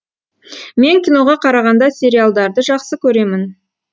мен киноға қарағанда сериалдарды жақсы көремін